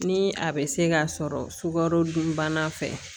Ni a bɛ se ka sɔrɔ sukaro dunbana fɛ